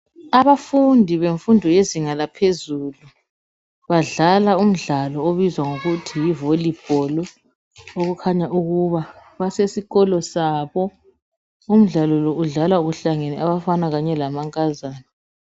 Abafundi bemfundo yezinga laphezulu badlala umdlalo obizwa ngokuthi yiVolibholu okukhanya ukuba basesikolo sabo umdlalo lo udlalwa uhlangene abafana kanye lamankazana